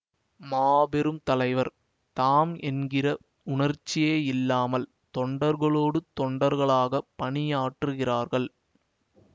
மாபெரும் தலைவர் தாம் என்கிற உணர்ச்சியேயில்லாமல் தொண்டர்களோடு தொண்டர்களாகப் பணியாற்றுகிறார்கள்